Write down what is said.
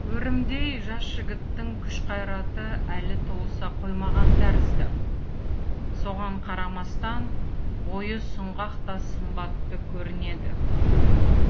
өрімдей жас жігіттің күш қайраты әлі толыса қоймаған тәрізді соған қарамастан бойы сұңғақ та сымбатты көрінеді